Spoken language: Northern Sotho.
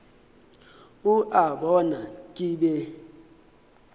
o a bona ke be